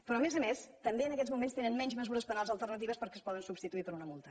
però a més a més també en aquests moments tenen menys mesures penals alternatives perquè es poden substituir per una multa